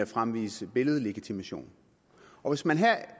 fremvise billedlegitimation og